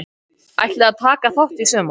Ætliði að taka þátt í sumar?